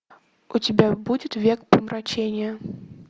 у тебя будет век помрачения